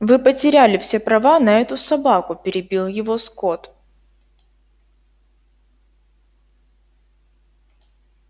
вы потеряли все права на эту собаку перебил его скотт